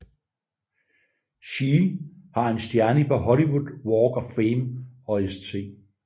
She har en stjerne på Hollywood Walk of Fame og St